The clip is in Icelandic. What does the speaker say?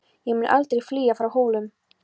Ég mun aldrei flýja frá Hólum!